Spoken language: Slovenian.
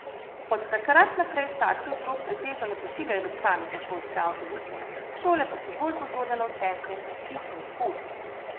Od takrat naprej starši otrok pretežno ne pošiljajo več samih na šolske avtobuse, šole pa so bolj pozorne na učence, ki jih ni k pouku.